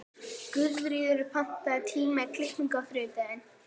Guðríður, pantaðu tíma í klippingu á þriðjudaginn.